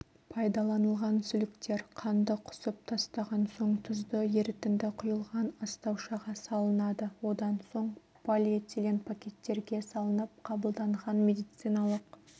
пайдаланылған сүліктер қанды құсып тастаған соң тұзды ерітінді құйылған астаушаға салынады одан соң полиэтилен пакеттерге салынып қабылданған медициналық